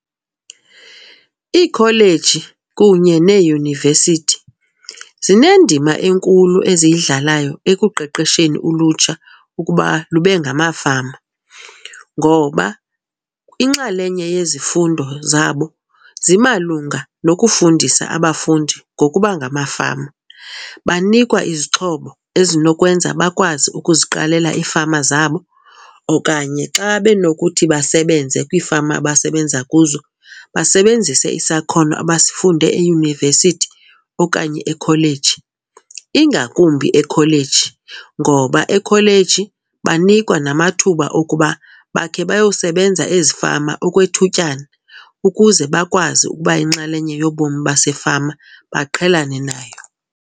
Iikholeji kunye neeyunivesithi zinendima enkulu eziyidlalayo ekuqeqesheni ulutsha ukuba lube ngamafama ngoba inxalenye yezifundo zabo zimalunga nokufundisa abafundi ngokuba ngamafama. Banikwa izixhobo ezinokwenza bakwazi ukuziqalela iifama zabo okanye xa benokuthi basebenze kwiifama abasebenza kuzo basebenzise isakhono abasifunde eyunivesithi okanye ekholeji. Ingakumbi ekholeji ngoba ekholeji banikwa namathuba okuba bakhe bayosebenza ezifama okwethutyana ukuze bakwazi ukuba yinxalenye yobomi basefama, baqhelane nayo.